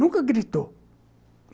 Nunca gritou.